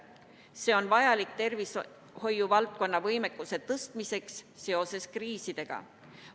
See on vajalik tervishoiu valdkonna võimekuse tõstmiseks seoses kriisidega.